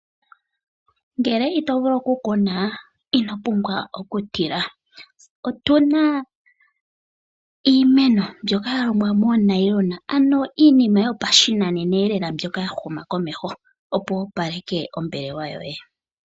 Ngele ito vulu oku kuna, ino pumbwa oku tila. Otuna iimeno mbyoka ya longwa moo nylon, ano iinima yo pashinanena eelela mbyoka ya huma komeho, opo wu opaleke ombelewa yoye.